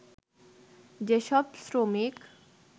যেসব শ্রমিক